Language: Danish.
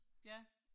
Ja